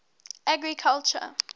agriculture